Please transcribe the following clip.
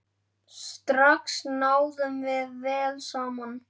Strax náðum við vel saman.